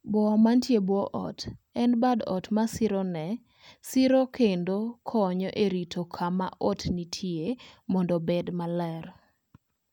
Boa manie bwo ot, en bad ot ma sirone siro kendo konyo e rito kama ot nitie mondo obed maler.